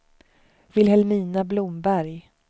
Vilhelmina Blomberg